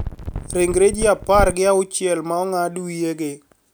Ringre ji apar gi auchiel ma ong`ad wiyegi